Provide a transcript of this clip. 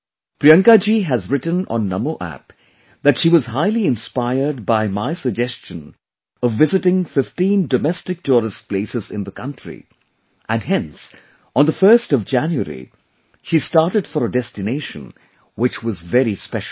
Priyanka ji has written on Namo App that she was highly inspired by my suggestion of visiting 15 domestic tourist places in the country and hence on the 1st of January, she started for a destination which was very special